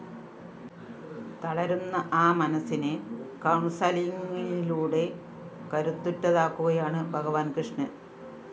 തളരുന്ന ആ മനസ്സിനെ കൗണ്‍സലിങ്ങിലൂടെ കരുത്തുറ്റതാക്കുകയാണ് ഭഗവാന്‍ കൃഷ്ണന്‍